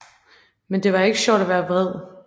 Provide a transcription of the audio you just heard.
Men det er ikke sjovt at være vred